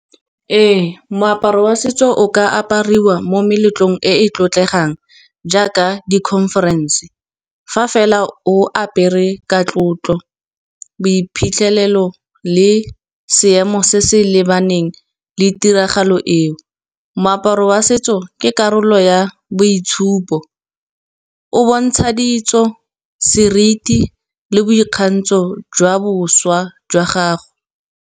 Ee, moaparo wa setso o ka apariwa mo meletlong e e tlotlegang, jaaka di-conference fa fela o apere ka tlotlo, boiphitlhelelo le seemo se se lebaneng le tiragalo e o. Moaparo wa setso ke karolo ya boitshupo, o bontsha ditso seriti le boikgantsho jwa boswa jwa gago.